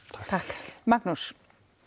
takk Magnús